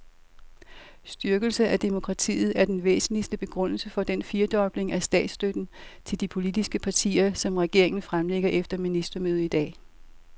Styrkelse af demokratiet er den væsentligste begrundelse for den firedobling af statsstøtten til de politiske partier, som regeringen fremlægger efter ministermødet i dag.